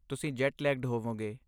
ਤੁਸੀਂ jet lagged ਹੋਵੋਂਗੇ